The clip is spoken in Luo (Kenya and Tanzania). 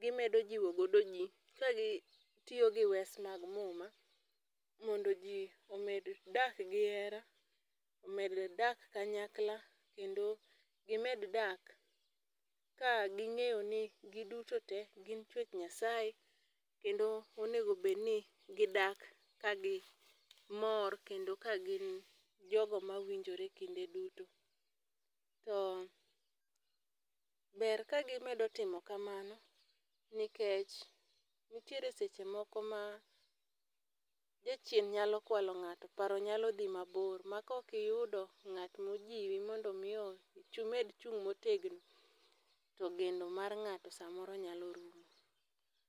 gimedo jiwo godo ji, ka gitiyo gi wes mag muma mondo ji omed dak gi hera, omed dak kanyakla, kendo gimed dak ka ging'eyo ni gin duto te, gin chuech nyasaye kendo onego bed ni gidak kagi mor, kendo ka gin jogo mawinjore kinde duto. To ber kagimedo timo kamano nikech, nitiere seche moko ma jachien nyalo kwalo ngáto, paro nyalo dhi mabor, ma koki yudo ngát mojiwi mondo mi imed chung' motegno, to geno mar ngáto samoro nyalo rumo.